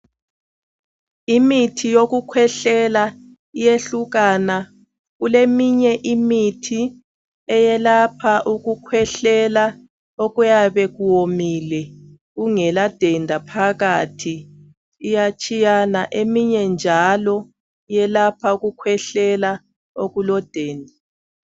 Imithi yokukhwehlela iyehlukana kuleminye imithi eyelapha ukukhwehlela okuyabe kuwomile kungela denda phakathi iyatshiyana eminye njalo iyelapha ukukhwehlela okulodenda.